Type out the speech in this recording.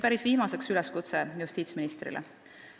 Päris viimaseks üleskutse justiitsministrile.